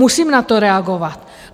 Musím na to reagovat.